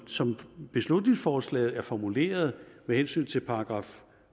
som beslutningsforslaget er formuleret med hensyn til §